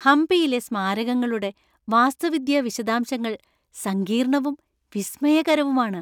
ഹംപിയിലെ സ്മാരകങ്ങളുടെ വാസ്തുവിദ്യാ വിശദാംശങ്ങൾ സങ്കീർണ്ണവും വിസ്മയകരവുമാണ്.